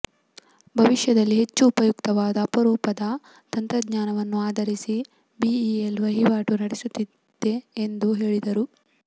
ಭವಿಷ್ಯದಲ್ಲಿ ಹೆಚ್ಚು ಉಪಯುಕ್ತವಾದ ಅಪರೂಪದ ತಂತ್ರಜ್ಞಾನವನ್ನು ಆಧರಿಸಿ ಬಿಇಎಲ್ ವಹಿವಾಟು ನಡೆಸುತ್ತಿದೆ ಎಂದು ಹೇಳಿದರು